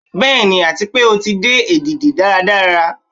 Bẹ́ẹ̀ni, ati pe o ti di edidi daradara